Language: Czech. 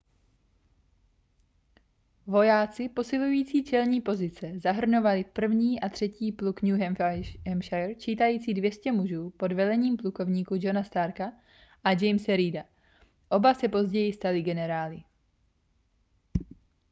vojáci posilující čelní pozice zahrnovali 1. a 3. pluk new hampshire čítající 200 mužů pod velením plukovníků johna starka a jamese reeda oba se později stali generály